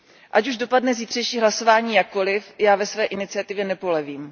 Ať už dopadne zítřejší hlasování jakkoliv, já ve své iniciativě nepolevím.